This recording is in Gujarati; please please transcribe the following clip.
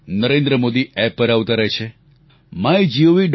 નરેન્દ્ર મોદી એપ પર આવતા રહે છે mygov